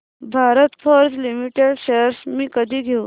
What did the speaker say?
Bharat Forge Limited shares मी कधी घेऊ